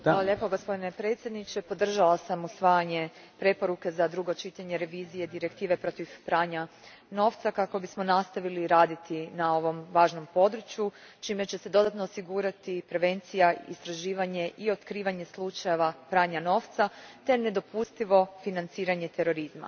Gospodine predsjedniče, podržala sam usvajanje preporuke za drugo čitanje revizije Direktive protiv pranja novca kako bismo nastavili raditi na ovom važnom području, čime će se dodatno osigurati prevencija, istraživanje i otkrivanje slučajeva pranja novca te nedopustivo financiranje terorizma.